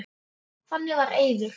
Þannig var Eiður.